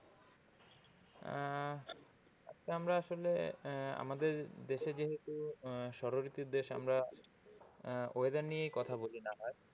আহ আজকে আমরা আসলে আমাদের দেশে যেহেতু ষড় ঋতুর দেশ আমরা weather নিয়েই কথা বলি না হয়।